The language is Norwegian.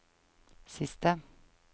siste